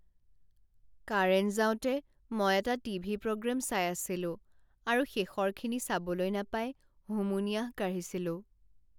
Current যাওঁতে মই এটা টিভি প্ৰগ্ৰেম চাই আছিলো আৰু শেষৰখিনি চাবলৈ নাপাই হুমুনিয়াহ কাঢ়িছিলোঁ।